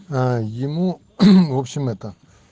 аа ему в общем это